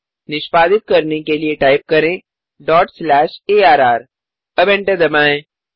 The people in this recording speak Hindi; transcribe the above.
निष्पादित करने के लिए टाइप करें डॉट स्लैश arrअब एंटर दबाएँ